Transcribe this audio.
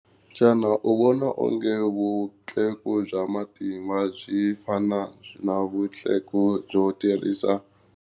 Xana u vona onge vutleku bya matimba byi fana na vutleku byo tirhisa?